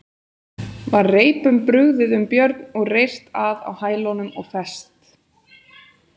Var reipum brugðið um Björn og reyrt að á hælunum og fest.